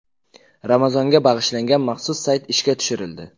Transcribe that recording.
Ramazonga bag‘ishlangan maxsus sayt ishga tushirildi.